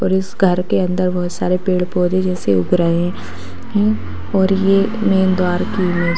और इस घर के अन्दर बहुत सारे पेड़-पौधे जैसे उग रहे है और ये मैन द्वार की --